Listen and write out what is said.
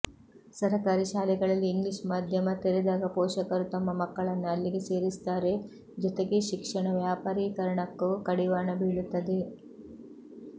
ಸರಕಾರಿ ಶಾಲೆಗಳಲ್ಲಿ ಇಂಗ್ಲೀಷ್ ಮಾಧ್ಯಮ ತೆರೆದಾಗ ಪೋಷಕರು ತಮ್ಮ ಮಕ್ಕಳನ್ನು ಅಲ್ಲಿಗೆ ಸೇರಿಸುತ್ತಾರೆ ಜೊತೆಗೆ ಶಿಕ್ಷಣ ವ್ಯಾಪಾರಿಕರಣಕ್ಕೂ ಕಡಿವಾಣ ಬೀಳುತ್ತದೆ